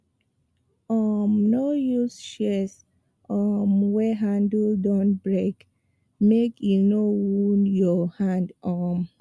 um no use shears um wey handle don break make e no wound your hand um